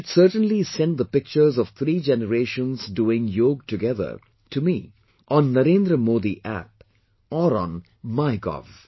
You should certainly send the pictures of three generations doing yoga together to me on Narendra ModiApp or on Mygov